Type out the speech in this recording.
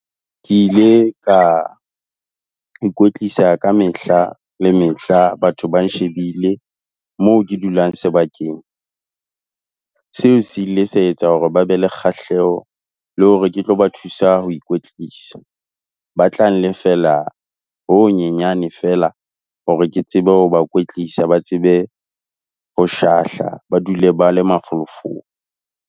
Ke ile ka ikwetlisa ka mehla le mehla batho ba nshebile, moo ke dulang sebakeng. Seo se ile sa etsa hore ba be le kgahleho, le hore ke tlo ba thusa ho ikwetlisa. Ba tla nlefella ho ho nyenyane feela, hore ke tsebe ho ba kwetlisa, ba tsebe ho shahla, ba dule ba le mafolofolo.